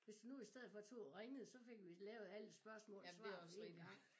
Hvis du nu i stedet for to og ringede så fik vi lavet alle spørgsmål og svar på én gang